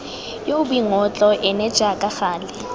yoo boingotlo ene jaaka gale